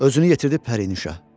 Özünü yetirdi Pərinüşə.